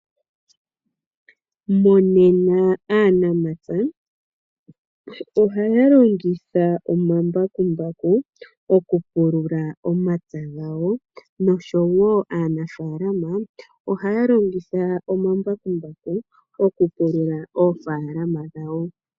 Monena aanamapya , ohaya longitha omambakumbaku okupulula omapya gawo noshowo aanafalama ohaya longitha omambakumbaku okupulula oofalama dhawo.